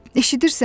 Eşidirsən?